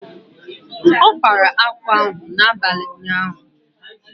Ọ kpara akwa ahụ abalị ụnyaahụ.